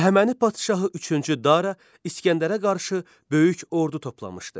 Əhəməni padşahı üçüncü Dara İsgəndərə qarşı böyük ordu toplamışdı.